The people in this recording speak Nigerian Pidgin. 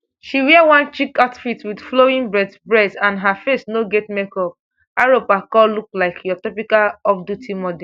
she wear one chic outfit wit flowing braids bress and her face no get makeup arop akol look like your typical offduty model